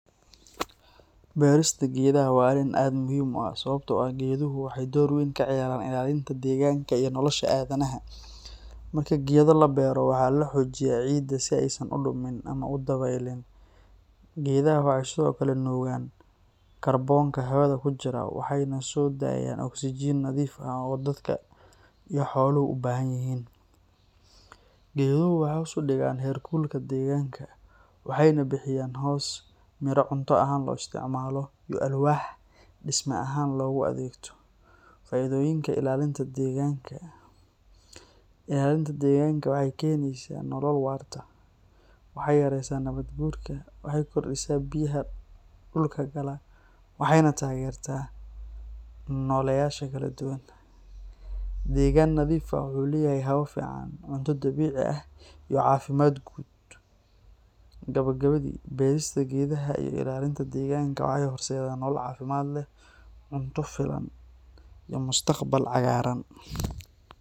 Beerista geedaha waa arrin aad u muhiim ah sababtoo ah geeduhu waxay door weyn ka ciyaaraan ilaalinta deegaanka iyo nolosha aadanaha. Marka geedo la beero, waxaa la xoojiyaa ciidda si aysan u dumin ama u dabeylin. Geedaha waxay sidoo kale nuugaan kaarboonka hawada ku jira waxayna soo daayaan oksijiin nadiif ah oo dadka iyo xooluhu u baahan yihiin. Geeduhu waxay hoos u dhigaan heerkulka deegaanka, waxayna bixiyaan hoos, miraha cunto ahaan loo isticmaalo, iyo alwaax dhisme ahaan loogu adeegto. Faa’iidooyinka ilaalinta deegaanka: Ilaalinta deegaanka waxay keenaysaa nolol waarta. Waxay yaraysaa nabaad-guurka, waxay kordhisaa biyaha dhulka gala, waxayna taageertaa nooleyaasha kala duwan. Deegaan nadiif ah wuxuu leeyahay hawo fiican, cunto dabiici ah, iyo caafimaad guud. Gabagabadii, beerista geedaha iyo ilaalinta deegaanka waxay horseedaan nolol caafimaad leh, cunto filan, iyo mustaqbal cagaaran.